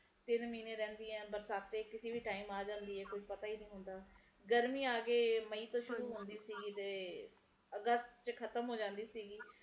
ਤਿੰਨ ਮਹੀਨੇ ਰਹਿੰਦੀਆਂ ਬਰਸਾਤ ਕਿਸੇ ਵੀ time ਆ ਜਾਂਦੇ ਹੈ ਪਤਾ ਨੀ ਹੁੰਦਾ ਗਰਮੀ ਅੱਗੇ ਮਈ ਤੋਂ ਸ਼ੁਰੂ ਹੁੰਦੀ ਸੀ ਤੇ ਅਗਸਤ ਵਿਚ ਖਤਮ ਹੋ ਜਾਂਦੇ ਸੀ